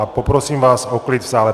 A poprosím vás o klid v sále.